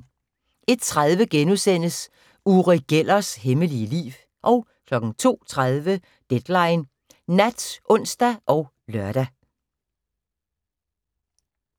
01:30: Uri Gellers hemmelige liv * 02:30: Deadline Nat (ons og lør)